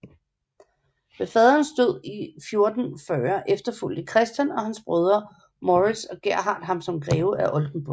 Ved faderens død i 1440 efterfulgte Christian og hans brødre Morits og Gerhard ham som greve af Oldenburg